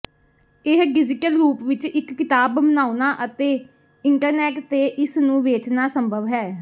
ਇਹ ਡਿਜੀਟਲ ਰੂਪ ਵਿਚ ਇਕ ਕਿਤਾਬ ਬਣਾਉਣਾ ਅਤੇ ਇੰਟਰਨੈਟ ਤੇ ਇਸ ਨੂੰ ਵੇਚਣਾ ਸੰਭਵ ਹੈ